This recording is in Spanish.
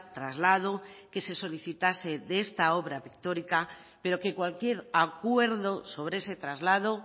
traslado que se solicitase de este obra pictórica pero que cualquier acuerdo sobre ese traslado